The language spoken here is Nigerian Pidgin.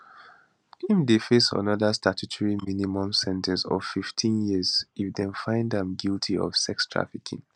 im dey face anoda statutory minimum sen ten ce of 15 years if dem find am guilty of sex trafficking